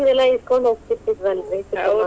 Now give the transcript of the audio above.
ಅದನೆಲ್ಲಾ ಇಸ್ಕೊಂಡ್ ಹೋಗತೀತಿ೯ದ್ವಲ್ರೀ .